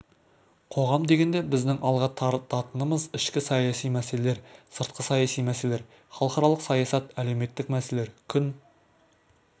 қоғам дегенде біздің алға тартатынымыз ішкі саяси мәселелер сыртқы саяси мәселелер халықаралық саясат әлеуметтік мәселелер күн